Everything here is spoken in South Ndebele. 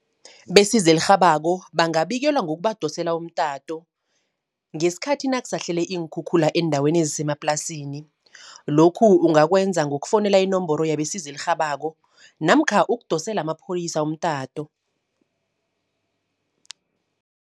Besizo elirhabako bangabikelwa ngokubadosela umtato, ngeskhathi nakuhlasele iinkhukhula eendaweni ezisemaplasini. Lokhu ungakwenza ngokufowunela inomboro yabesizo elirhabako namkha ukudosela amapholisa umtato.